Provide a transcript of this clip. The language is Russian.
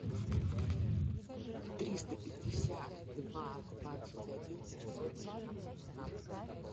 триста пятьдесят два двадцать один семьсот семнадцать двенадцать